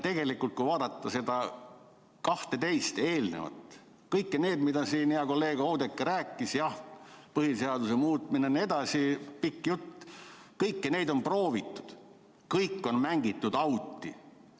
Tegelikult, kui vaadata neid 12 eelnevat – kõiki neid, millest siin hea kolleeg Oudekki rääkis –, jah, põhiseaduse muutmine jne, pikk jutt, siis kõiki neid on proovitud, kõik on mängitud auti.